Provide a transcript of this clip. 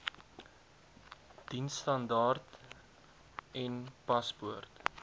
diensstandaard n paspoort